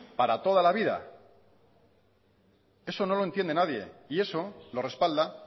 para toda la vida eso no lo entiende nadie y eso lo respalda